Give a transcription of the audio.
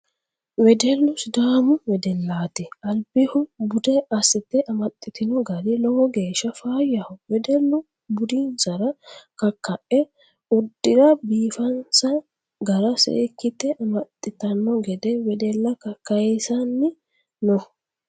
Wedellu sidaamu wedellati albihu bude assite amaxitino gari lowo geeshsha faayyaho wedellu budinsara kakae uddira biifansa gara seekkite amaxittano gede wedella kakayisanni no.